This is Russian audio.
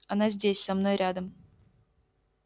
она здесь со мной рядом